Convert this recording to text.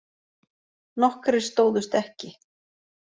Nokkrir stóðust ekki